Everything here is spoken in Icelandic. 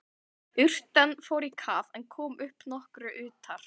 Urtan fór í kaf en kom upp nokkru utar.